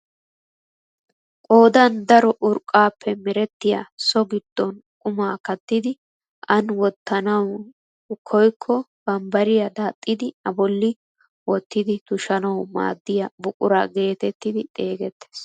Qoodan daro urqqaappe merettiyaa so giddon qumaa kattidi ani wottanawu koykko bambbariyaa daaxxidi a bolli wottidi tushshanwu maaddiyaa buquraa getetti xeegettees.